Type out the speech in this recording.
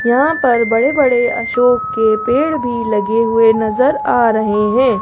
यहां पर बड़े बड़े अशोक के पेड़ भी लगे हुए नजर आ रहे हैं।